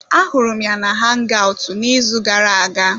Ahụrụ m ya na hangaụtụ n'izu gara aga.